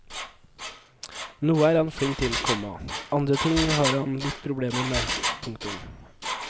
Noe er han flink til, komma andre ting har han litt problemer med. punktum